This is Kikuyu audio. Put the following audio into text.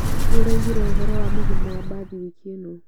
Nĩũraigire ũhoro wa mũgomo wa mbathi wiki ĩno?